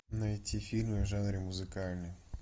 найти фильмы в жанре музыкальный